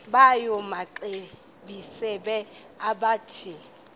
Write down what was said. yawo amaxesibe akathethi